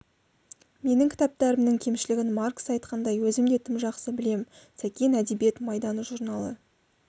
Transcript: менің кітаптарымның кемшілігін маркс айтқандай өзім де тым жақсы білем сәкен әдебиет майданы журналы